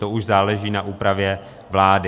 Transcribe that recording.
To už záleží na úpravě vlády.